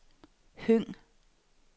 Høng